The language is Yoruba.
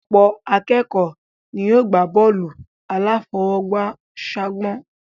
Ọ̀pọ̀ akékọ̀ọ́ ni yóò gbá bọ́ọ̀lù aláfọwọ́jù ságbọ̀n